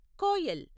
Koel